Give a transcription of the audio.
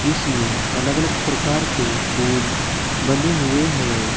इसमें अलग अलग प्रकार के पोल बने हुए हैं।